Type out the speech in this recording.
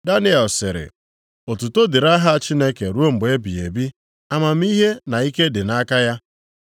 Daniel sịrị, “Otuto dịrị aha Chineke ruo mgbe ebighị ebi; amamihe na ike dị nʼaka ya.